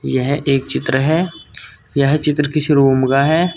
यह एक चित्र है यह चित्र किसी रूम का है।